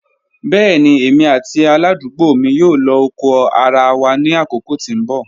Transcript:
Bẹẹni emi ati aladugbo mi yoo lo oko ara wa ni akoko ti n bọ.